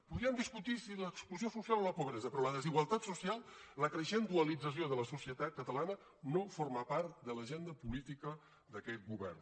podríem discutir si l’exclusió social o la pobresa però la desigualtat social la creixent dualització de la societat catalana no forma part de l’agenda política d’aquest govern